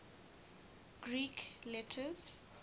greek letters